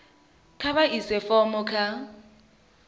kha vha ise fomo kha